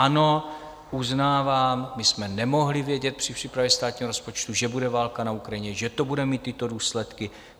Ano, uznávám, my jsme nemohli vědět při přípravě státního rozpočtu, že bude válka na Ukrajině, že to bude mít tyto důsledky.